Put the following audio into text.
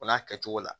O n'a kɛcogo la